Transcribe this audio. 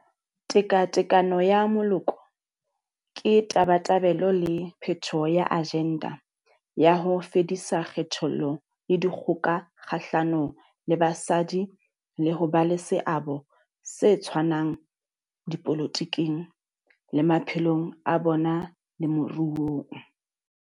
Tekatekano ya Moloko ke tabatabelo le phethoho ya ajenda ya ho fedisa kgethollo le dikgoka kgahlano le basadi le ho ba le seabo se tshwanang dipolotiking, le maphelong a bona le moruong.